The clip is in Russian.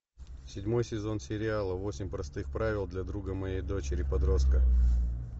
седьмой сезон сериала восемь простых правил для друга моей дочери подростка